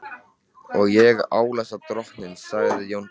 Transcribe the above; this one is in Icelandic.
Og ég álasa drottni, sagði Jón biskup.